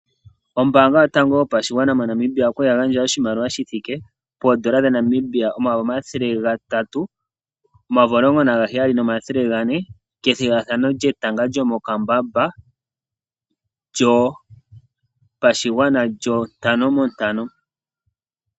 Ombanga yotango yopashigwana moNamibia okwali yagandja oshimaliwa shithike poondola dhaNamibia omayovi omathele gatatu omayovi omulongo nagaheyali nomathele gane kethigathano lyokatanga komokambamba lyo pashigwana lyo ntano montano.